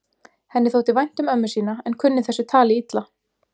Henni þótti vænt um ömmu sína en kunni þessu tali illa.